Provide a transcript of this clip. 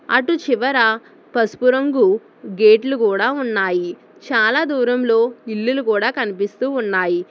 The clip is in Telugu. అట్టు చివరా పసుపు రంగు గేట్లు కూడా ఉన్నాయి చాలా దూరంలో ఇల్లులు కూడా కనిపిస్తూ ఉన్నాయి.